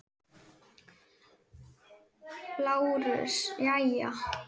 LÁRUS: Jæja?